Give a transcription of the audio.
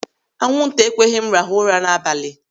Anwụ nta ekweghị m rahụ ụra n'abalị.